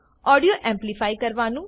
audio amplify કરવું